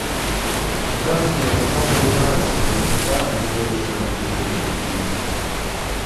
здравствуйте я хотел бы узнать когда мои крылышки барбекю принесут